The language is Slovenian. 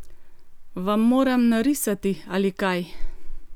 Vam moram narisati ali kaj?